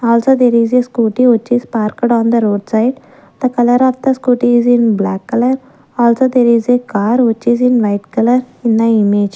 also there is a scooty which is parked on the roadside the colour of the scooty is in black colour also there is a car which is in white colour in the image.